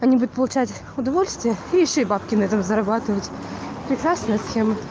они будут получать удовольствие и ещё и бабки на этом зарабатывать прекрасная тема